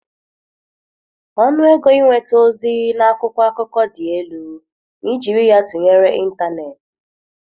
Ọnụ ego ịnweta ozi na akwụkwọ akụkọ dị elu ma e jiri ya tụnyere ịntanetị.